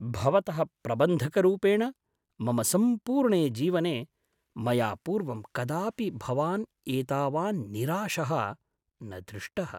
भवतः प्रबन्धकरूपेण मम सम्पूर्णे जीवने, मया पूर्वं कदापि भवान् एतावान् निराशः न दृष्टः।